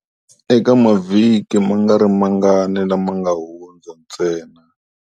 Eka mavhiki mangarimangani lama nga hundza ntsena.